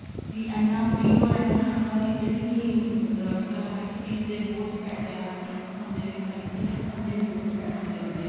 ਵੀ ਇੰਨਾ free or ਇੰਨਾ ਸਸਤਾ ਕਿਤੇ ਵੀ ਨੀ ਮਿਲਦਾ ਅੱਜਕਲ ਹਰ ਚੀਜ਼ ਦੇ ਬਹੁਤ ਪੈਸੇ ਆ ਹਰ ਇੱਕ ਸਿੱਖਣ ਦੇ ਵੀ ਬਹੁਤ ਪੈਸੇ ਲੱਗਦੇ ਆ